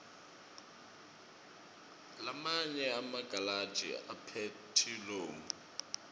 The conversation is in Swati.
lamanye emagalashi aphethilomu